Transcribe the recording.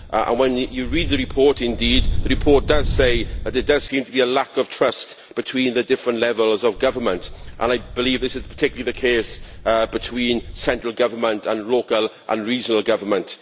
Indeed, when you read the report, it does say that there seems to be a lack of trust between the different levels of government and I believe this is particularly the case between central government and local and regional government.